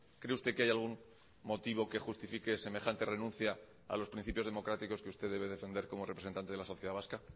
cree usted que hay algún motivo que justifique semejante renuncia a los principios democráticos que usted debe defender como representante de la sociedad vasca